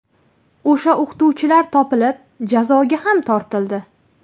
O‘sha o‘qituvchilar topilib, jazoga ham tortildi.